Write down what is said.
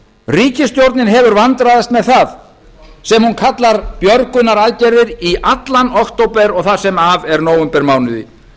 ríkisstjórnin hefur vandræðast með það sem hún kallar björgunaraðgerðir allan október og það sem af er nóvembermánuði